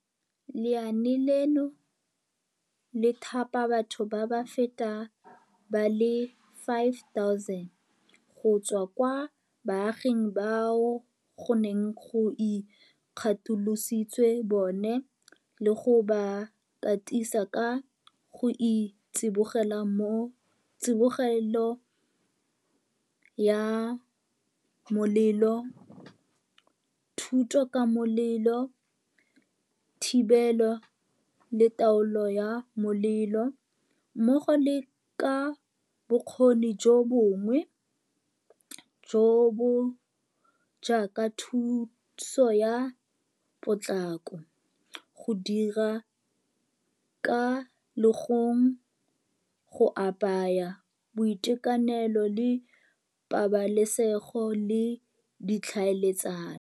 Lenaane leno le thapa batho ba feta ba le 5 000 go tswa kwa baaging bao go neng go ikgatolositswe bone le go ba katisa ka ga tsibogelo ya molelo, thuto ka molelo, thibelo le taolo ya molelo mmogo le ka bokgoni jo bongwe, jo bo jaaka thuso ya potlako, go dira ka legong, go apaya, boitekanelo le pabalesego le ditlhaeletsano.